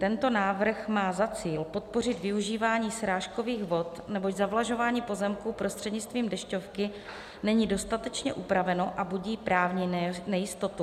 Tento návrh má za cíl podpořit využívání srážkových vod, neboť zavlažování pozemku prostřednictvím dešťovky není dostatečně upraveno a budí právní nejistotu.